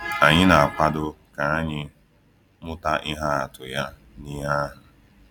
Anyị na-akwado ka anyị mụta ihe atụ ya n’ihe ahụ.